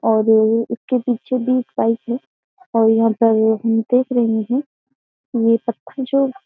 और उसके पीछे भी बाइक है और यहाँ पर हम देख रहे हैं ये पत्थर जो --